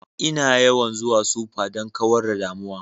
Ina yawan zuwa supa don kawar da damuwa